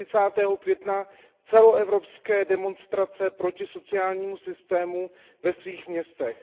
30. května celoevropské demonstrace proti sociálnímu systému ve svých městech.